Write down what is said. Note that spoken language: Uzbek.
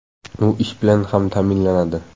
U ish bilan ham ta’minlanadi.